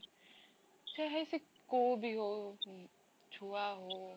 ସେ ହେଇ ସେ କୋଉ ବି ହଉ ସେ ଛୁଆ ହଉ